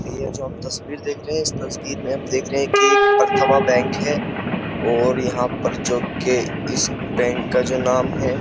ये जो हम तस्वीर देख रहे हैं इस तस्वीर मे हम देख रहे हैं की एक प्रथमा बैंक हैं और यहाँ पर जोकि इस बैंक का जो नाम हैं।